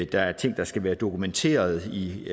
der er ting der skal være dokumenteret i